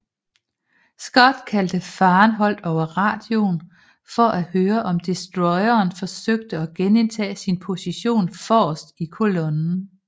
Scott kaldte Farenholt over radioen for at høre om destroyeren forsøgte at genindtage sin position forrest i kolonnen